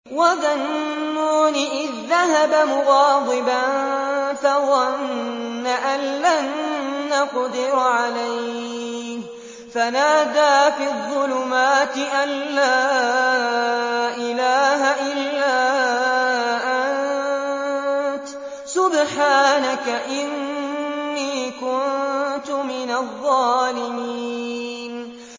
وَذَا النُّونِ إِذ ذَّهَبَ مُغَاضِبًا فَظَنَّ أَن لَّن نَّقْدِرَ عَلَيْهِ فَنَادَىٰ فِي الظُّلُمَاتِ أَن لَّا إِلَٰهَ إِلَّا أَنتَ سُبْحَانَكَ إِنِّي كُنتُ مِنَ الظَّالِمِينَ